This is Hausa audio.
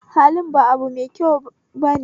Halin ba abune mai kyau ba